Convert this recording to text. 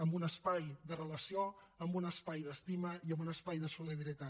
en un espai de relació en un espai d’estima i en un espai de solidaritat